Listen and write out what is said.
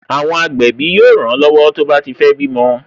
Àwọn agbẹ̀bí yóò ran lọ́wọ́ tó bá ti fé bímọ